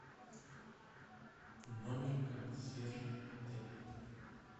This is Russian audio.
номер консьержа отеля